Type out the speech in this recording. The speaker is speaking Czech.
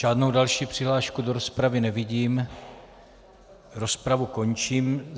Žádnou další přihlášku do rozpravy nevidím, rozpravu končím.